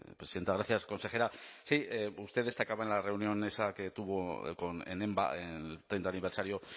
presidenta gracias consejera sí usted destacaba en la reunión esa que tuvo con enba en el treinta aniversario